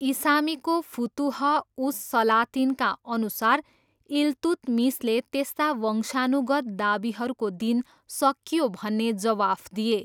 इसामीको फुतुह उस सलातिनका अनुसार, इल्तुतमिसले त्यस्ता वंशानुगत दावीहरूको दिन सकियो भन्ने जवाफ दिए।